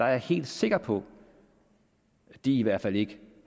helt sikker på at de i hvert fald ikke